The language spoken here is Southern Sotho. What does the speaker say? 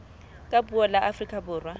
ka puo la afrika borwa